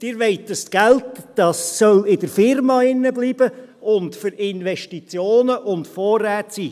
Sie wollen dieses Geld, dieses soll in der Firma bleiben und für Investitionen und Vorräte da sein.